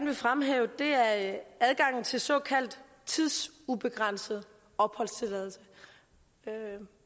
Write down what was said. vil fremhæve er adgangen til såkaldt tidsubegrænset opholdstilladelse